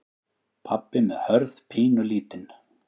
Pabbi með Hörð pínulítinn.